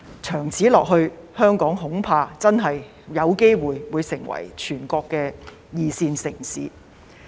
長此下去，香港恐怕會淪為全國的二線城市。